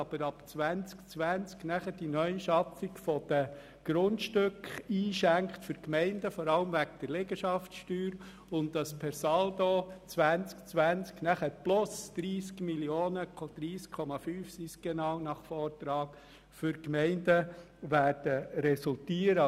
Vor allem werden aber ab dem Jahr 2020 wegen der Liegenschaftssteuer plus 30,5 Mio. Franken für die Gemeinden resultieren.